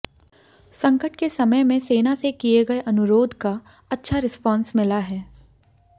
संकट के समय में सेना से किए गए अनुरोध का अच्छा रिस्पांस मिला है